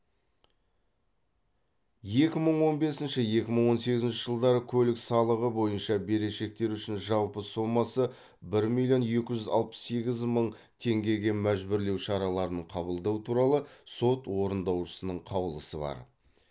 екі мың он бесінші екі мың он сегізінші жылдары көлік салығы бойынша берешектері үшін жалпы сомасы бір миллион екі жүз алпыс сегіз мың теңгеге мәжбүрлеу шараларын қабылдау туралы сот орындаушысының қаулысы бар